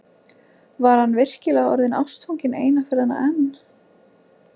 Var hann virkilega orðinn ástfanginn eina ferðina enn?